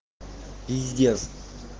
пиздец